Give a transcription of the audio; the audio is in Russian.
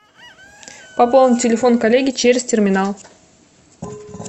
пополнить телефон коллеги через терминал